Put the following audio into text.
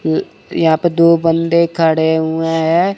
अ यहां पर दो बंदे खड़े हुएं है।